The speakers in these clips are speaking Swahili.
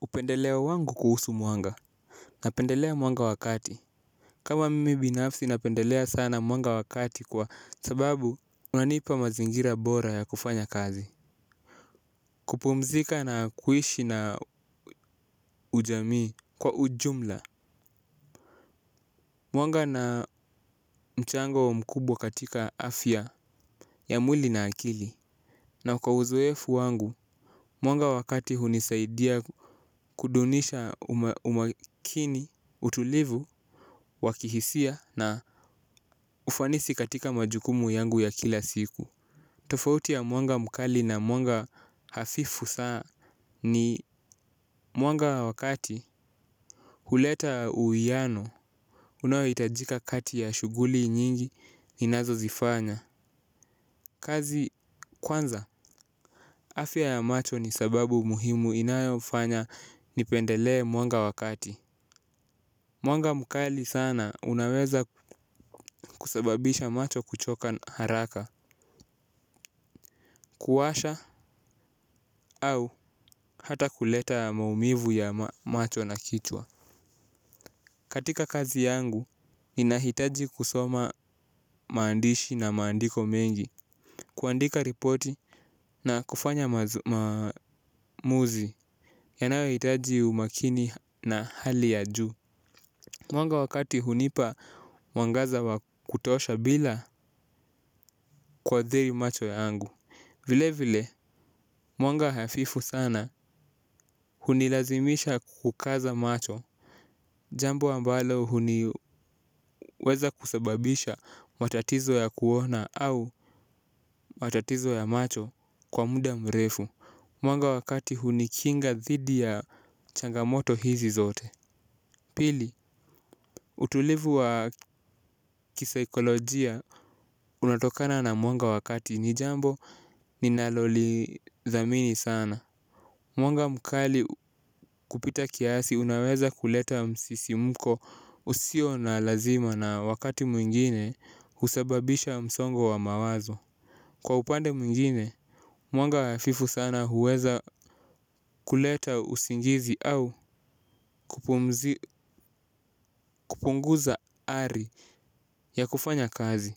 Upendeleo wangu kuhusu mwanga napendelea mwanga wakati. Kama mimi binafsi napendelea sana mwanga wakati kwa sababu unanipa mazingira bora ya kufanya kazi. Kupumzika na kuishi na ujamii kwa ujumla mwanga una mchango mkubwa katika afya ya mwili na akili. Na kwa uzoefu wangu mwanga wakati hunisaidia kudumisha umakini utulivu wakihisia na ufanisi katika majukumu yangu ya kila siku. Tofauti ya mwanga mkali na mwanga hafifu saa ni mwanga wakati. Huleta uuwiano unaohitajika kati ya shughuli nyingi inazo zifanya. Kazi kwanza afia ya macho ni sababu muhimu inayo fanya nipendelee mwanga wakati. Mwanga mukali sana unaweza kusababisha macho kuchoka haraka. Kuwasha au hata kuleta maumivu ya macho na kichwa katika kazi yangu, ninahitaji kusoma maandishi na maandiko mengi. Kuandika ripoti na kufanya maamuzi yanayo hitaji umakini ya hali ya ju. Mwanga wakati hunipa mwangaza wa kutosha bila kuadhiri macho yangu. Vile vile, mwanga hafifu sana hunilazimisha kukaza macho. Jambo ambalo huweza kusababisha matatizo ya kuona au matatizo ya macho kwa muda mrefu. Mwanga wa kati hunikinga dhidi ya changamoto hizi zote. Pili, utulivu wa kisaikolojia unatokana na mwanga wakati ni jambo ninalolidhamini sana. Mwanga mkali kupita kiasi unaweza kuleta msisimuko usio na lazima na wakati mwingine husababisha msongo wa mawazo. Kwa upande mwingine, mwanga hafifu sana huweza kuleta usingizi au kupunguza ari ya kufanya kazi.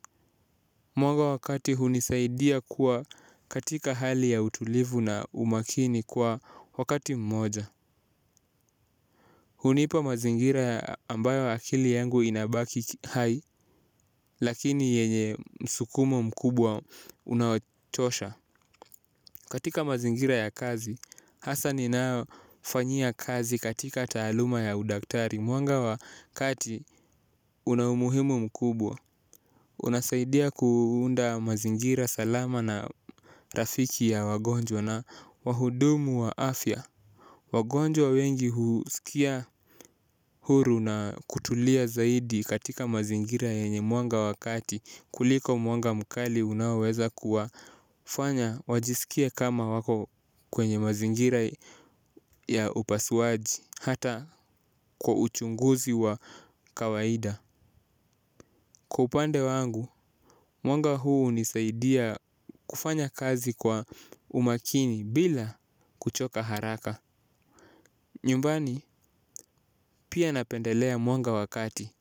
Mwanga wakati hunisaidia kuwa katika hali ya utulivu na umakini kwa wakati mmoja. Hunipa mazingira ambayo akili yangu inabaki hai lakini yenye msukumo mkubwa unaochosha. Katika mazingira ya kazi hasa ninayofanyia kazi katika taaluma ya udaktari mwanga wa kati una umuhimu mkubwa. Unasaidia kuunda mazingira salama na rafiki ya wagonjwa na wahudumu wa afya. Wagonjwa wengi husikia huru na kutulia zaidi katika mazingira yenye mwanga wakati kuliko mwanga mkali unaoweza kuwafanya wajiskie kama wako kwenye mazingira ya upasuaji hata kwa uchunguzi wa kawaida. Kwa upande wangu, mwanga huu hunisaidia kufanya kazi kwa umakini bila kuchoka haraka nyumbani pia napendelea mwanga wa kati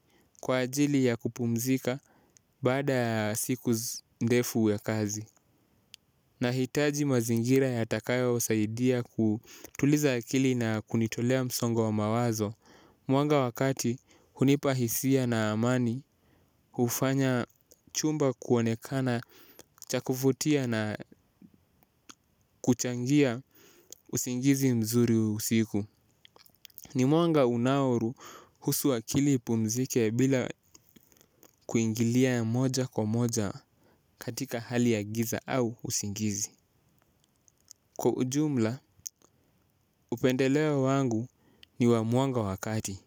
kwa ajili ya kupumzika baada ya siku ndefu ya kazi. Nahitaji mazingira yatakayo saidia kutuliza akili na kunitolea msongo wa mawazo. Mwanga wakati hunipahisia na amani hufanya chumba kuonekana chakuvutia na kuchangia usingizi mzuri usiku. Ni mwanga unauruhusu akili upumzike bila kuingilia moja kwa moja katika hali ya giza au usingizi. Kwa ujumla, upendelewa wangu ni wa mwanga wakati.